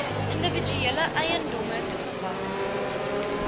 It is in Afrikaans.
individuele eiendomme toegepas